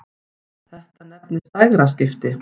Þetta nefnist dægraskipti.